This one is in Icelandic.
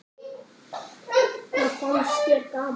Það fannst þér gaman.